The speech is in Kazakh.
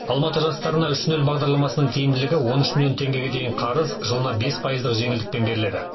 алматы жастары үш нөл бағдарламасының тиімділігі он үш миллион теңгеге дейінгі қарыз жылына бес пайыз жеңілдікпен беріледі